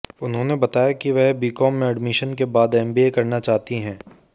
उन्होंने बताया कि वह बीकॉम में ऐडमिशन के बाद एमबीए करना चाहती हैं